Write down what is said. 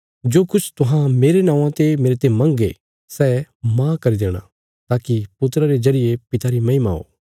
जो किछ तुहां मेरे नौआं ते मेरते मंगणा सै माह करी देणा ताकि पुत्रा रे जरिये पिता री महिमा हो